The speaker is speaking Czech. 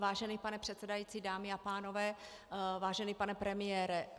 Vážený pane předsedající, dámy a pánové, vážený pane premiére.